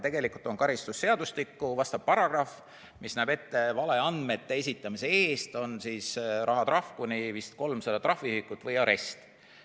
Tegelikult on karistusseadustikus paragrahv, mis näeb ette, et valeandmete esitamise eest on rahatrahv vist kuni 300 trahviühikut või arest.